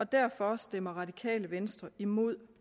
derfor stemmer radikale venstre imod